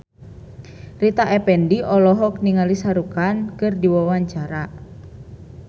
Rita Effendy olohok ningali Shah Rukh Khan keur diwawancara